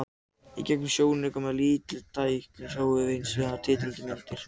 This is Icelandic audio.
Í gegnum sjónauka, með mjög mikilli stækkun, sjáum við hins vegar tindrandi myndir.